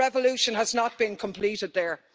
The revolution has not been completed there.